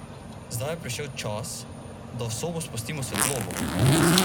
Zdaj je prišel čas, da v sobo spustimo svetlobo.